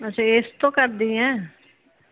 ਟੋਹ ਕਰਦੀ ਏ?